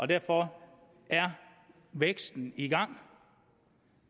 derfor er væksten i gang